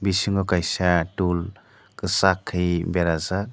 bisingo kaisa tool kwsak ke berajaak.